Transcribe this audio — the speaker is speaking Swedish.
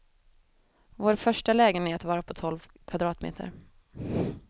Vår första lägenhet var på tolv kvadratmeter.